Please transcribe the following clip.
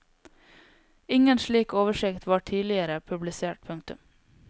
Ingen slik oversikt var tidligere publisert. punktum